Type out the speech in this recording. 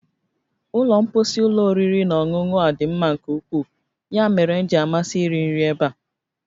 Ụlọ mposi ụlọ oriri na ọṅụṅụ a dị mma nke ukwuu, ya mere m ji amasị iri nri ebe a